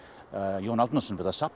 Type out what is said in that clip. Jón Árnason við að safna